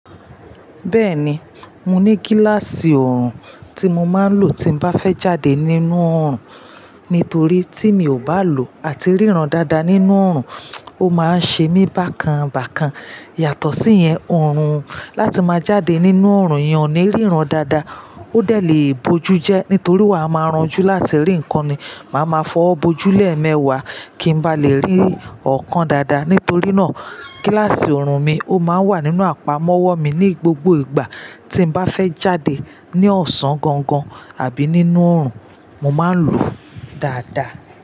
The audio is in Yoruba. Bẹ́ẹ̀ni, mo ní gíláàsì oorùn tí mo máa ń lò tí n bá fẹ́ jáde nínú oorùn, nítorí tí mi ò bá lò ó àti ríran dáadáa nínú oorùn, ó má ń ṣe mí bákan bákan. Yàtọ̀ síyẹn, oorùn láti máa jáde nínú oorùn eyan o ní ríran dáadáa ó dẹ̀ lé bojú jẹ́ nítorí wa a máa ranjú láti rí ǹkan ni. Máa ma fọwọ́ bojú lẹ̀mẹwaa kí n bá lè rí okan dáadáa. Nítorí náà gíláàsì oorùn mi ó máa ń wà nínú àpamọ́wọ́ mi ní gbogbo ìgbà tí n bá fẹ́ jáde ní ọ̀sán gangan àbí nínú oorùn, mo máa ń lò ó dáadáa.